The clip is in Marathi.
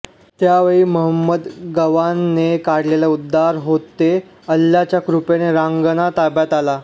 त्यावेळी महंमद गवानने काढलेले उद्गार होते अल्लाच्या कृपेने रांगणा ताब्यात आला